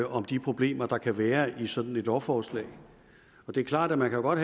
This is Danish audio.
om de problemer der kan være i sådan et lovforslag det er klart at man godt